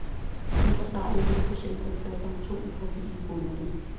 Lige fra starten af dette projekt har vi fastlagt to ufravigelige grundregler.